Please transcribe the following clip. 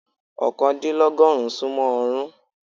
oókàndílọ́gọ́rùn-ún sún mọ́ ọọ́rùn-ún.